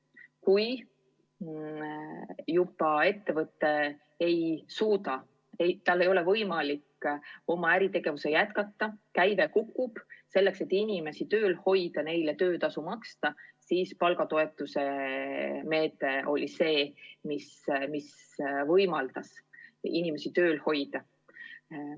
Kui ettevõte ei suuda tegutseda, tal ei ole võimalik äritegevust jätkata, käive kukub, siis selleks, et inimesi tööl hoida, neile töötasu maksta, oli palgatoetuse meede, mis võimaldas inimesi tööl hoida.